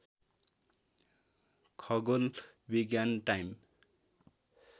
खगोल विज्ञान टाइम